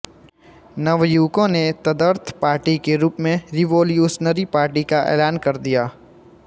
नवयुवकों ने तदर्थ पार्टी के रूप में रिवोल्यूशनरी पार्टी का ऐलान कर दिया